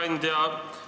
Hea ettekandja!